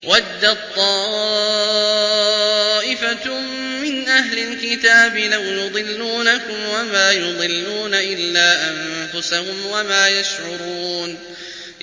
وَدَّت طَّائِفَةٌ مِّنْ أَهْلِ الْكِتَابِ لَوْ يُضِلُّونَكُمْ وَمَا يُضِلُّونَ إِلَّا أَنفُسَهُمْ وَمَا يَشْعُرُونَ